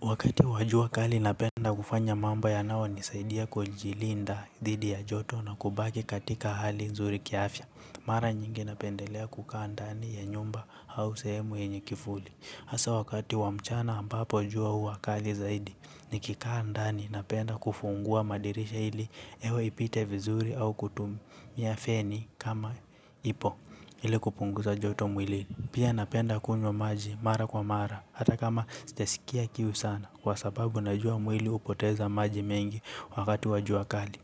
Wakati wa jua kali napenda kufanya mambo yanayonisaidia kujilinda dhidi ya joto na kubaki katika hali nzuri kiafya. Mara nyingi napendelea kukaa ndani ya nyumba h au sehemu yenye kivuli hasa wakati wa mchana ambapo jua huwa kali zaidi. Nikikaa ndani napenda kufungua madirisha ili hewa ipite vizuri au kutumia feni kama ipo ili kupunguza joto mwilini. Pia napenda kunywa maji mara kwa mara hata kama sijasikia kiu sana kwa sababu najua mwili hupoteza maji mengi wakati wa jua kali.